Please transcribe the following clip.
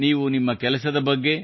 ನೀವು ನಿಮ್ಮ ಕೆಲಸದ ಬಗ್ಗೆ